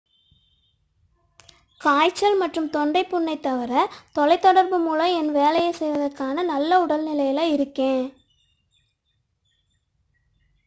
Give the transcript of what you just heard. """காய்ச்சல் மற்றும் தொண்டை புண்ணைத் தவிர தொலைதொடர்பு மூலம் என் வேலையைச் செய்வதற்கான நல்ல உடல்நிலையில் இருக்கிறேன்.